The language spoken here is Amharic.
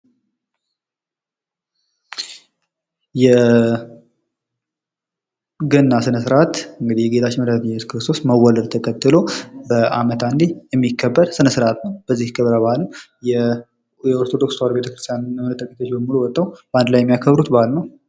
የገና ስነ ስርዓት እንግዲህ የጌታችን መድኃኒታችን ኢየሱስ ክርስቶስ መወለድ ተከትሎ በአመት አንዴ የሚከበር ስነ-ስርዓት ነው። በዚህ ክብረ በዓል የኦርቶዶክስ ተዋህዶ ቤተክርስቲያን ምዕኖች ተደምረው ወጥተው በአንድ ላይ የሚያከብሩት በዓል ነው።